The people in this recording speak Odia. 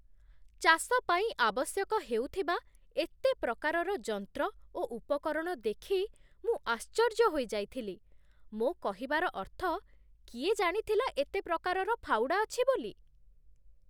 ଚାଷ ପାଇଁ ଆବଶ୍ୟକ ହେଉଥିବା ଏତେ ପ୍ରକାରର ଯନ୍ତ୍ର ଓ ଉପକରଣ ଦେଖି ମୁଁ ଆଶ୍ଚର୍ଯ୍ୟ ହୋଇଯାଇଥିଲି। ମୋ କହିବାର ଅର୍ଥ, କିଏ ଜାଣିଥିଲା ଏତେ ପ୍ରକାରର ଫାଉଡ଼ା ଅଛି ବୋଲି?